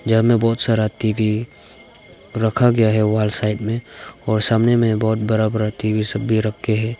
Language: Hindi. यहां में बहुत सारा टीवी रखा गया है वॉल साइड में और सामने में बहुत बरा बरा टी_वी सब भी रख के है।